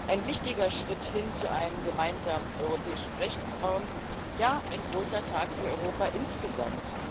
Ein wichtiger Schritt hin zu einem gemeinsamen europäischen Rechtsraum, ja, ein großer Tag für Europa insgesamt.